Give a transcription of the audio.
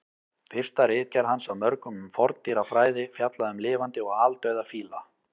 Fyrsta ritgerð hans af mörgum um forndýrafræði fjallaði um lifandi og aldauða fíla.